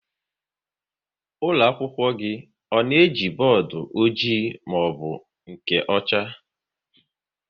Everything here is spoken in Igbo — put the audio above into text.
Ụlọakwụkwọ gị ọ na-eji bọọdụ ọjị maọbụ nke ọcha?